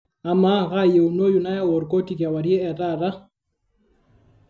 amaa kaayieunoyu nayau orkoti kewarie etaata